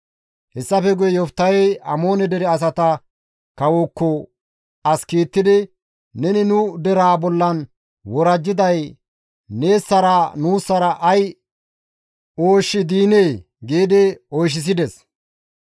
Hessafe guye Yoftahey Amoone dere asata kawozaakko as kiittidi, «Neni nu deraa bollan worajjiday neessara nuussara ay ooshshi diinee?» giidi oychchissides.